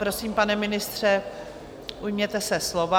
Prosím, pane ministře, ujměte se slova.